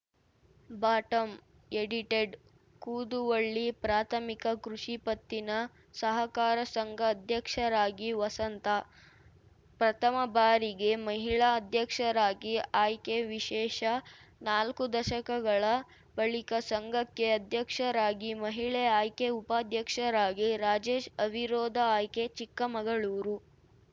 bottom edited Kuduvalli ಪ್ರಾಥಮಿಕ ಕೃಷಿ ಪತ್ತಿನ ಸಹಕಾರ ಸಂಘ ಅಧ್ಯಕ್ಷರಾಗಿ ವಸಂತಾ ಪ್ರಥಮ ಬಾರಿಗೆ ಮಹಿಳಾ ಅಧ್ಯಕ್ಷರಾಗಿ ಆಯ್ಕೆ ವಿಶೇಷ ನಾಲ್ಕು ದಶಕಗಳ ಬಳಿಕ ಸಂಘಕ್ಕೆ ಅಧ್ಯಕ್ಷರಾಗಿ ಮಹಿಳೆ ಆಯ್ಕೆ ಉಪಾಧ್ಯಕ್ಷರಾಗಿ ರಾಜೇಶ್‌ ಅವಿರೋಧ ಆಯ್ಕೆ ಚಿಕ್ಕಮಗಳೂರು